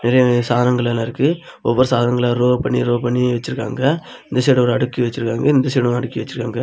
நிறைய நிறைய சாதனங்கள் எல்லா இருக்கு ஒவ்வொரு சாதனங்களா ரோ பண்ணி ரோ பண்ணி வச்சிருக்காங்க இந்த சைடு ஒரு அடுக்கி வச்சிருக்காங்க இந்த சைடு ஒன்னு அடிக்க வச்சிருக்காங்க.